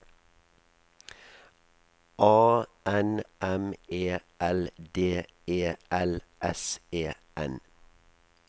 A N M E L D E L S E N